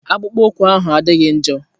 Akpụkpọ ụkwụ ahụ adịghị njọ.